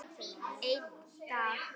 Einn dag!